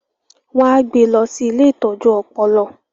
wọn á gbé lọ sí “ilé ìtọ́jú ọpọlọ ”.